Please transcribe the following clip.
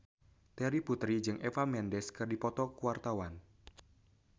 Terry Putri jeung Eva Mendes keur dipoto ku wartawan